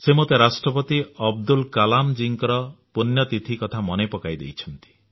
ସେ ମୋତେ ରାଷ୍ଟ୍ରପତି ଅବଦୁଲ କଲାମ ଜୀଙ୍କର ପୁଣ୍ୟତିଥି କଥା ମନେ ପକାଇ ଦେଇଛନ୍ତି